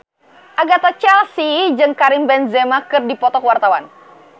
Agatha Chelsea jeung Karim Benzema keur dipoto ku wartawan